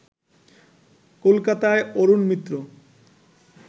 কলকাতায় অরুণ মিত্র